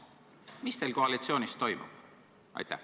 Mis teil koalitsioonis toimub?